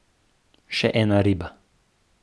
Še ena riba.